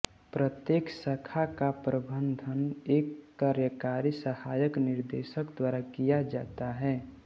प्रत्येक शाखा का प्रबंधन एक कार्यकारी सहायक निदेशक द्वारा किया जाता है